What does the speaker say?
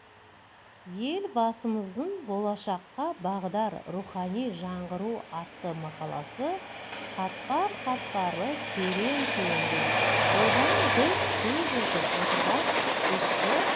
елбасымыздың болашаққа бағдар рухани жаңғыру атты мақаласы қатпар-қатпарлы терең туынды одан біз сөз етіп отырған ішкі